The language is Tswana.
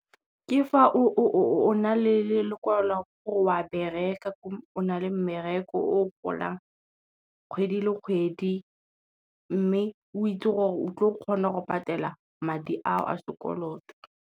Ke fa o na le lekwalo la gore o a bereka o na le mmereko o kgolang kgwedi le kgwedi, mme o itse gore o tlo kgona go patela madi a o a sekoloto.